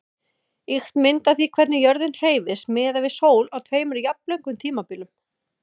Ýkt mynd af því hvernig jörðin hreyfist miðað við sól á tveimur jafnlöngum tímabilum.